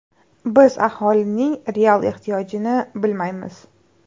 Biz aholining real ehtiyojini bilmaymiz.